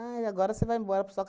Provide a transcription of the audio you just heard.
agora você vai embora para sua